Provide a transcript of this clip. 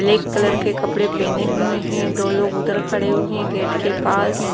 black colour के कपड़े पहने हुए हैं दो लोग उधर खड़े हुए हैं गेट के पास--